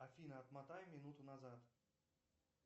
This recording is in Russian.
афина отмотай минуту назад